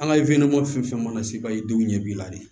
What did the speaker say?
An ka fɛn fɛn mana se baayi denw ɲɛ b'i la de